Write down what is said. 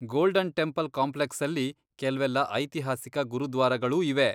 Golden Temple ಕಾಂಪ್ಲೆಕ್ಸಲ್ಲಿ ಕೆಲ್ವೆಲ್ಲ ಐತಿಹಾಸಿಕ ಗುರುದ್ವಾರಗಳೂ ಇವೆ.